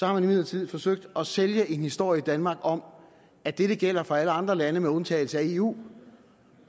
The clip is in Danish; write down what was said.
har man imidlertid forsøgt at sælge en historie i danmark om at dette gælder for alle andre lande med undtagelse af eu